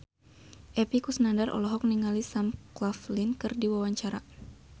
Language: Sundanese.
Epy Kusnandar olohok ningali Sam Claflin keur diwawancara